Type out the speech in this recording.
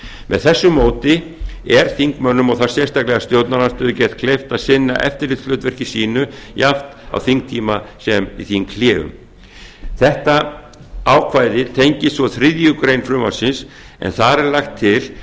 með þessu móti er þingmönnum og þá sérstaklega stjórnarandstöðu gert kleift að sinna eftirlitshlutverki sínu jafnt á þingtíma sem í þinghléum þetta ákvæði tengist svo þriðju greinar frumvarpsins en þar er lagt til